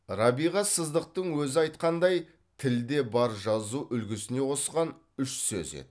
рабиға сыздықтың өзі айтқандай тілде бар жазу үлгісіне қосқан үш сөз еді